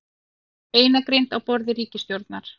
Beinagrind á borði ríkisstjórnar